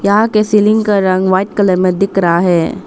यहां के सीलिंग का रंग व्हाइट कलर में दिख रहा है।